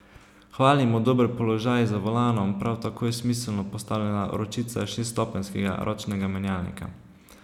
Hvalimo dober položaj za volanom, prav tako je smiselno postavljena ročica šeststopenjskega ročnega menjalnika.